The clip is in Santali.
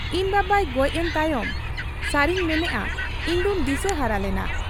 ᱤᱧ ᱵᱟᱵᱟᱭ ᱜᱚᱡ ᱮᱱ ᱛᱟᱭᱚᱢ ᱥᱟᱹᱨᱤᱧ ᱢᱮᱱᱮᱜ ᱟ, ᱤᱧᱫᱚᱧ ᱫᱤᱥᱟᱹᱦᱟᱨᱟ ᱞᱮᱱᱟ ᱾